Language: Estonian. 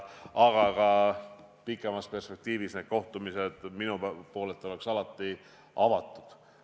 Aga ka pikemas perspektiivis on need kohtumised minu poolt alati avatud.